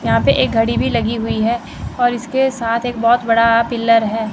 यहां पर एक घड़ी भी लगी हुई है और इसके साथ एक बहुत बड़ा पिलर है।